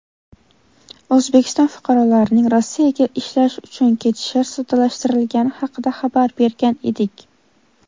O‘zbekiston fuqarolarining Rossiyaga ishlash uchun ketishi soddalashtirilgani haqida xabar bergan edik.